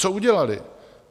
Co udělaly?